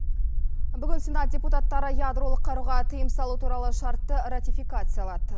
бүгін сенат депутаттары ядролық қаруға тыйым салу туралы шартты ратификациялады